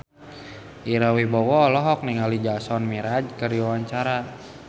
Ira Wibowo olohok ningali Jason Mraz keur diwawancara